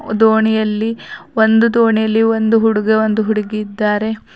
ದೋಣಿಯಲ್ಲಿ ಒಂದು ದೋಣಿಯಲ್ಲಿ ಒಂದು ಹುಡುಗ ಒಂದು ಹುಡುಗಿ ಇದ್ದಾರೆ.